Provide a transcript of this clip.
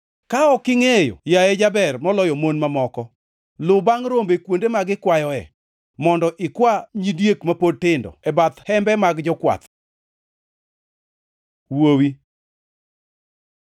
Ka ok ingʼeyo, yaye jaber moloyo mon mamoko, lu bangʼ rombe kuonde ma gikwayoe, mondo ikwa nyidiek ma pod tindo e bath hembe mag jokwath. Wuowi